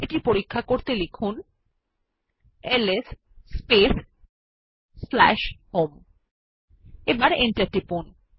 এটি পরীক্ষা করতে লিখুন এলএস স্পেস home এবং এন্টার টিপুন